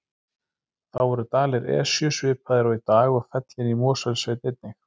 Þá voru dalir Esju svipaðir og í dag og fellin í Mosfellssveit einnig.